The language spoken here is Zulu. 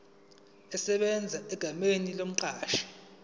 esebenza egameni lomqashi